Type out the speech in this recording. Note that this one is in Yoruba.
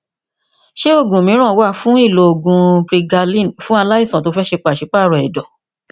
ṣé òògùn mìíràn wà fún ìlo òògun pirigalíìnì fún aláìsàn tó fẹ ṣẹ pàṣípààrọ ẹdọ